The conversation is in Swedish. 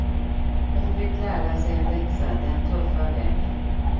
Hon fick lära sig en läxa den tuffa vägen.